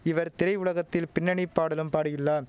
இவர் திரை உலகத்தில் பின்னணி பாடலும் பாடியுள்ளான்